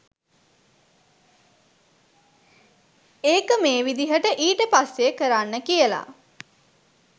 ඒක මේ විදිහට ඊට පස්සේ කරන්න කියල.